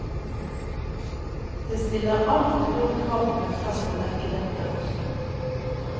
Det stiller alt for store krav til en prest å dekke dette også.